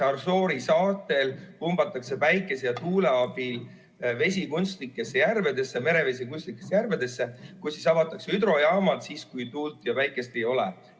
Näiteks Assoori saartel pumbatakse päikese ja tuule abil merevesi kunstlikesse järvedesse ning avatakse hüdrojaamad siis, kui tuult ja päikest ei ole.